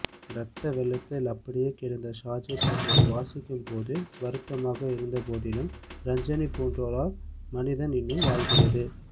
ரத்த வெள்ளத்தில் அப்படியே கிடந்தார் ஷாஜி என்பது வாசிக்கும்போது வருத்தமாக இருந்தபோதிலும் ரஞ்சனி போன்றோரால் மனிதம் இன்னும் வாழ்கிறது